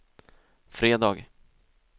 fredag